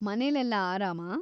ಮನೇಲೆಲ್ಲ ಆರಾಮಾ?